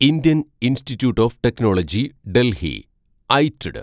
Indian institute of technology Delhi ഐറ്റ്ഡ്